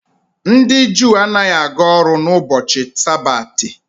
Ndị Juu anaghị aga ọrụ n'ubochi sabati.